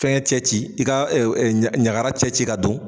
Fɛn cɛ ci i ka i ka ɲagara cɛ ci ka don.